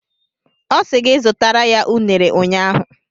Ọ sị gị zụtara ya unere ụnyaahụ.